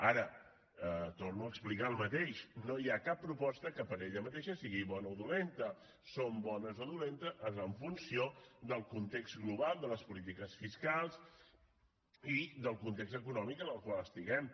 ara torno a explicar el mateix no hi ha cap proposta que per ella mateixa sigui bona o dolenta són bones o dolentes en funció del context global de les polítiques fiscals i del context econòmic en el qual estiguem